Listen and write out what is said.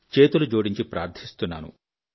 చేతులు జోడించి ప్రార్థిస్తున్నాను